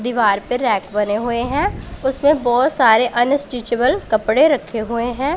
दीवार पर रैक बने हुए उसमें बहोत सारे अनस्ट्रेचेबल कपड़े रखे हुए हैं।